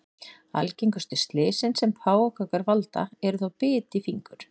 Algengustu slysin sem páfagaukar valda eru þó bit í fingur.